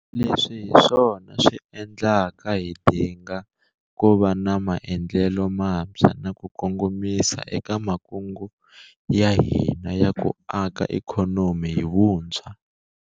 Leswi hi swona swi endlaka hi dinga ku va na maendlelo mantshwa na ku kongomisa eka makungu ya hina ya ku aka ikhonomi hi vuntshwa.